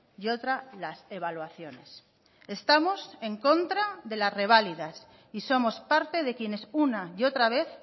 y otra las evaluaciones estamos en contra de las reválidas y somos parte de quienes una y otra vez